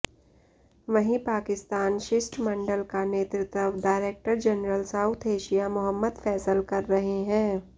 वहीं पाकिस्तान शिष्टमंडल का नेतृत्व director general South Asia Mohammad Faisal कर रहे हैं